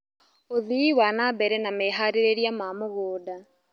ũthii wana mbere na meharĩrĩria ma mũgũnda